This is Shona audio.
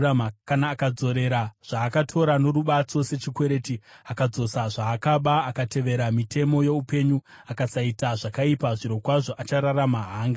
kana akadzorera zvaakatora norubatso sechikwereti, akadzosa zvaakaba, akatevera mitemo youpenyu, akasaita zvakaipa, zvirokwazvo achararama; haangafi.